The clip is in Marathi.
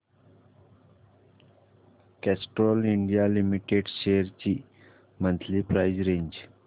कॅस्ट्रॉल इंडिया लिमिटेड शेअर्स ची मंथली प्राइस रेंज